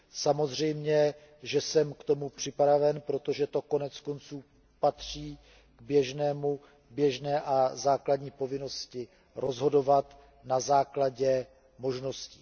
samozřejmě, že jsem k tomu připraven, protože to konec konců patří k běžné a základní povinnosti rozhodovat na základě možností.